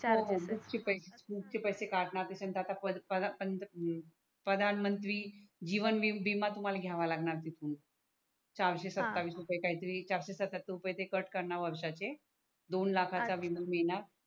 नुसते पैसे कटणार ते तिथून तर आता प्रधानमंत्री जीवन विमा तुम्हाला घ्यावा लागणार तिथून चारसे सत्तावीस रूपेय हा काही तरी चारसे सतत्यातर रुपेय ते कॅट करणार वर्षाचे दोन अच्छा लाखाचा विमा मिळणार